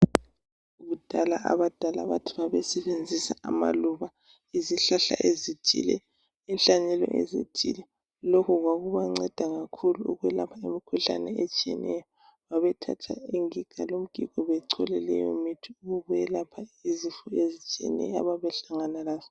Kudala abadali bathi babesebenzisa amaluba, izihlahla ezithile, inhlanye ethile lokhu kwakubanceda kakhulu ukwelapha imikhuhlane etshiyeneyo. Babethatha ingiga lomgigo bachole leyo mithi ukwelapha izifo ezitshiyeneyo ababehlangana lazo